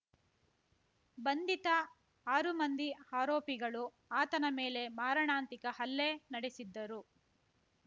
ಬಂಧಿತ ಆರು ಮಂದಿ ಆರೋಪಿಗಳು ಆತನ ಮೇಲೆ ಮಾರಣಾಂತಿಕ ಹಲ್ಲೆ ನಡೆಸಿದ್ದರು